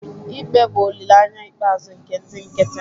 ikpe bụ olileanya ikpeazụ nke ndị nkịtị